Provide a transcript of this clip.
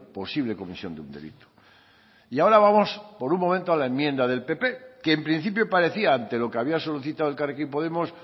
posible comisión de un delito y ahora vamos por un momento a la enmienda del pp que en principio parecía ante lo que había solicitado elkarrekin podemos